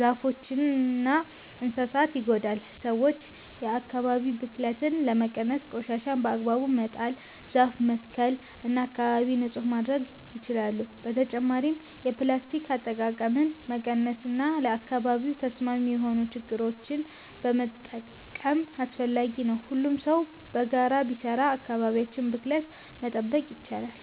ዛፎችንና እንስሳትን ይጎዳል። ሰዎች የአካባቢ ብክለትን ለመቀነስ ቆሻሻን በአግባቡ መጣል፣ ዛፍ መትከል እና አካባቢን ንጹህ ማድረግ ይችላሉ። በተጨማሪም የፕላስቲክ አጠቃቀምን መቀነስ እና ለአካባቢ ተስማሚ የሆኑ ነገሮችን መጠቀም አስፈላጊ ነው። ሁሉም ሰው በጋራ ቢሰራ አካባቢያችንን ከብክለት መጠበቅ ይቻላል።